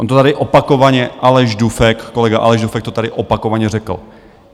On to tady opakovaně Aleš Dufek, kolega Aleš Dufek, to tady opakovaně řekl.